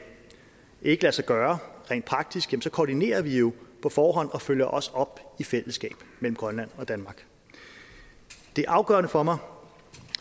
ikke lade sig gøre rent praktisk koordinerer vi jo på forhånd og følger også op i fællesskab mellem grønland og danmark det er afgørende for mig